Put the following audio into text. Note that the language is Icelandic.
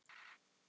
Karen Ósk.